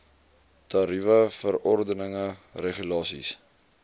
tariewe verordeninge regulasies